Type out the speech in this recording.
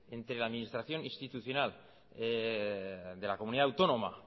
entre la administración institucional de la comunidad autónoma